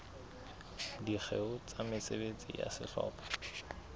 dikgeong tsa mesebetsi ya sehlopha